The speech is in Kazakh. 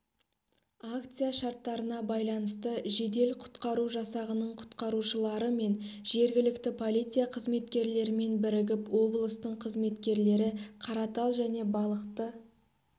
акция шарттарына байланысты жедел-құтқару жасағының құтқарушылары мен жергілікті полиция қызметкерлерімен бірігіп облыстың қызметкерлері қаратал және балықты